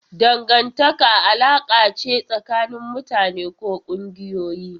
Dangantaka alaƙa ce tsakanin mutane ko ƙungiyoyi.